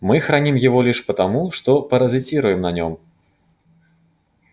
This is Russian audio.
мы храним его лишь потому что паразитируем на нем